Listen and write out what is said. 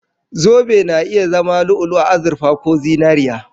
Zobe na iya zama lu'u-lu'u, azurfa ko zinariya